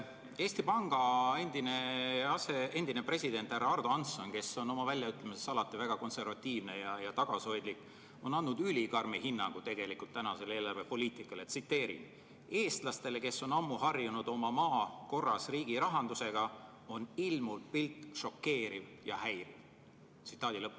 Eesti Panga endine president härra Ardo Hansson, kes on oma väljaütlemistes alati väga konservatiivne ja tagasihoidlik, on andnud tegelikult ülikarmi hinnangu tänasele eelarvepoliitikale: „Eestlastele, kes on ammu harjunud oma maa korras riigirahandusega, on ilmuv pilt šokeeriv ja häiriv.